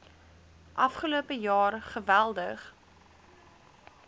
afgelope jaar geweldig